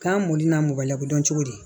K'an mɔni na mɔgɔ la ko dɔn cogo di